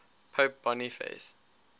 pope boniface